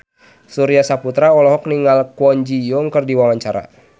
Surya Saputra olohok ningali Kwon Ji Yong keur diwawancara